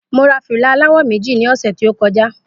Mo ra fìlà àlawò méjì ní ọ̀sẹ̀ tí o koja